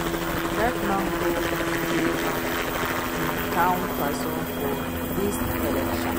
Dat man go favour im town person for dis election